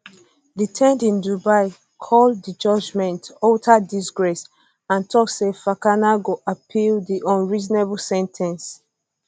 detained in dubai call di judgement di judgement utter disgrace and tok say fakana go appeal di unreasonable sen ten ce